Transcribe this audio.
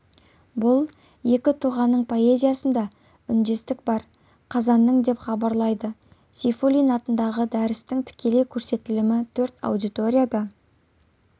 бұл екі тұлғаның поэзиясында үндестік бар қазанның деп хабарлайды сейфуллин атындағы дәрістің тікелей көрсетілімі төрт аудиторияда